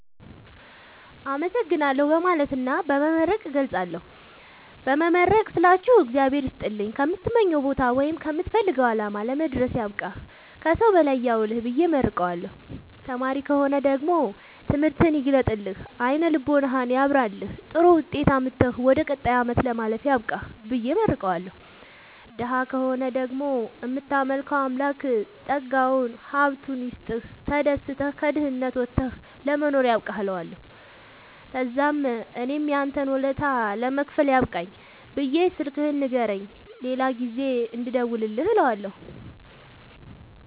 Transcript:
አመሠግናለሁ በማለትና በመመረቅ እገልፃለሁ። በመመረቅ ስላችሁ እግዚአብሄር ይስጥልኝ ከምትመኘዉ ቦታወይም ከምትፈልገዉ አላማ ለመድረስያብቃህ ከሠዉ በላይ ያዉልህብየ እመርቀዋለሁ። ተማሪ ከሆነ ደግሞ ትምህርትህን ይግለጥልህ አይነ ልቦናህን ያብራልህ ጥሩዉጤት አምጥተህ ወደ ቀጣይ አመት ለማለፍ ያብቃህ ብየ እመርቀዋለሁ። ደሀ ከሆነ ደግሞ እምታመልከዉ አምላክ ጠጋዉን ሀብቱይስጥህ ተደስተህ ከድህነት ወተህ ለመኖር ያብቃህእለዋለሁ። ተዛምእኔም ያንተን ወለታ ለመክፈል ያብቃኝ ብየ ስልክህን ንገረኝ የሌላ ጊዜ እንድደዉልልህ እለዋለሁ